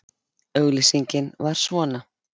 Auglýsingin var svona